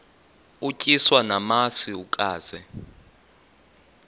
utyiswa namasi ukaze